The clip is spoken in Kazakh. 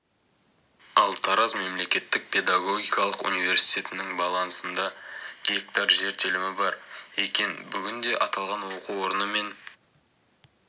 ал тараз мемлекеттік педагогикалық университетінің балансында гектар жер телімі бар екен бүгінде аталған оқу орны мен